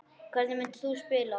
Hvernig myndir þú spila?